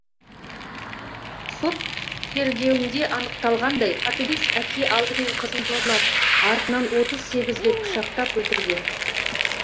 сот тергеуінде анықталғандай қатыгез әке алдымен қызын зорлап артынан отыз сегіз рет пышақтап өлтірген